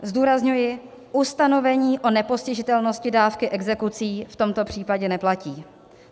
Zdůrazňuji, ustanovení o nepostižitelnosti dávky exekucí v tomto případě neplatí.